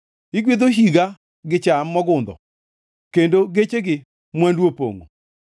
Igwedho higa gi cham mogundho, kendo gechegi mwandu opongʼo.